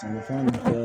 A ni fɛn